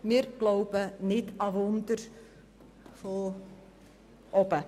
Wir glauben nicht an Wunder von oben.